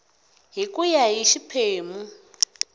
hi ku ya hi xiphemu